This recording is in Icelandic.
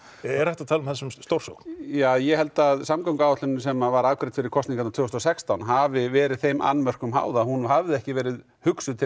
er hægt að tala um það sem stórsókn ja ég held að samgönguáætlunin sem var afgreidd fyrir kosningarnar tvö þúsund og sextán hafi verið þeim annmörkum háð að hún hafði ekki verið hugsuð til